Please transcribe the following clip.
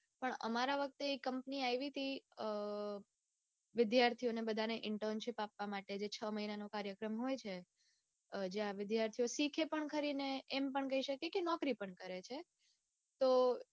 પણ અમારા વખતે કંપની આવી તી અઅ વિદ્યાર્થીને બધાને internship આપવા માટે જે છ મહિનાનો કાર્યક્રમ હોય છે જ્યાં વિદ્યાર્થીઓ શીખે પણ ખરાને એમ પણ કઈ શકે કે નોકરી પણ છે.